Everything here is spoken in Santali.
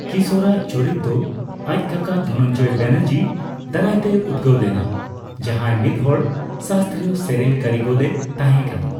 ᱠᱤᱥᱚᱨᱟᱜ ᱪᱚᱨᱤᱛ ᱫᱚ ᱟᱪ ᱠᱟᱠᱟ ᱫᱷᱚᱱᱚᱱᱡᱚᱭ ᱵᱮᱱᱟᱨᱡᱤ ᱫᱟᱨᱟᱭᱛᱮᱭ ᱩᱫᱜᱟᱹᱣ ᱞᱮᱱᱟ, ᱡᱟᱦᱟᱸᱭ ᱢᱤᱫᱦᱚᱲ ᱥᱟᱥᱛᱨᱤᱭᱚ ᱥᱮᱨᱮᱧ ᱠᱟᱹᱨᱤᱜᱚᱞ ᱮ ᱛᱟᱦᱮᱸ ᱠᱟᱱᱟ ᱾